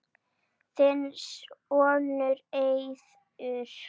Þinn sonur, Eiður.